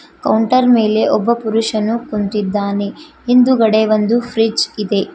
Counter ಮೇಲೆ ಒಬ್ಬ ಪುರುಷನು ಕುಂತಿದ್ದಾನೆ ಹಿಂದುಗಡೆ ಒಂದು ಫ್ರಿಡ್ಜ್ ಇದೆ.